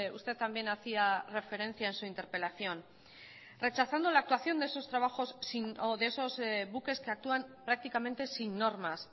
usted también hacía referencia en su interpelación rechazando la actuación de esos trabajos sin o de esos buques que actúan prácticamente sin normas